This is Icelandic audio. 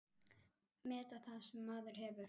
Meta það sem maður hefur.